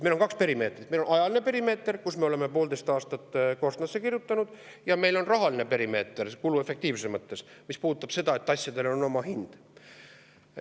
Meil on kaks perimeetrit: meil on ajaline perimeeter, me oleme poolteist aastat korstnasse kirjutanud, ja meil on rahaline perimeeter kuluefektiivsuse mõttes, mis puudutab seda, et asjadel on oma hind.